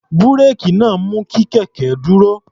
Búréèkì náà mú kí kẹ̀kẹ́ dúró.